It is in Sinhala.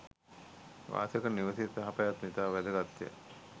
වාසය කරන නිවසේ යහ පැවැත්ම ඉතා වැදගත්ය.